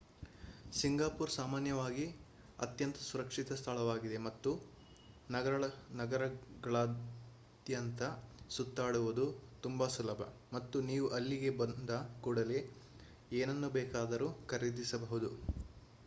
Singapore ಸಾಮಾನ್ಯವಾಗಿ ಅತ್ಯಂತ ಸುರಕ್ಷಿತ ಸ್ಥಳವಾಗಿದೆ ಮತ್ತು ನಗರಗಳಾದ್ಯಂತ ಸುತ್ತಾಡುವುದು ತುಂಬಾ ಸುಲಭ ಮತ್ತು ನೀವು ಅಲ್ಲಿಗೆ ಬಂದ ಕೂಡಲೇ ಏನನ್ನು ಬೇಕಾದರೂ ಖರೀದಿಸಬಹುದು